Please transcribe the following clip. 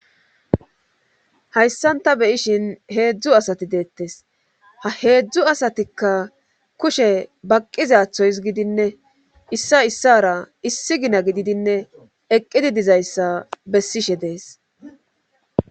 Hayssan ta beyishin heedzdzu asati deettes ha heedzdzu asatikka kushe baqqizathoys gidinne issa issara issi gina gididinne eqqidi dizayssa bessishe deescalation